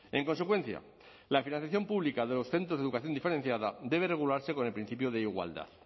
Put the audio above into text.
en consecuencia la financiación pública de los centros de educación diferenciada debe regularse con el principio de igualdad